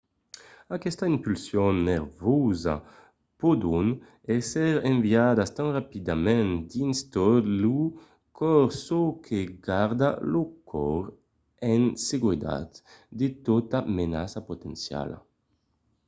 aquestas impulsions nerviosas pòdon èsser enviadas tan rapidament dins tot lo còrs çò que garda lo còrs en seguretat de tota menaça potenciala